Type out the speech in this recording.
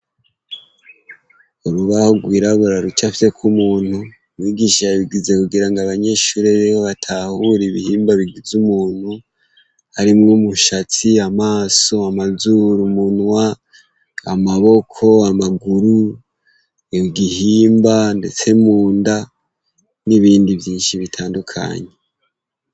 Urubaho rwirabura rucafyeko umuntu, umwigisha yabigize kugira ngo abanyeshuri biwe batahure ibihimba bigize umuntu, harimwo umushatsi, amaso, amazuru, umunwa, amaboko, amaguru, igihimba ndetse munda n'ibindi vyinshi bitandukanye.